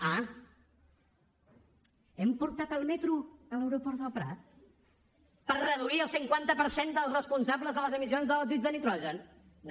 ah hem portat el metro a l’aeroport del prat per reduir el cinquanta per cent dels responsables de les emissions d’òxids de nitrogen no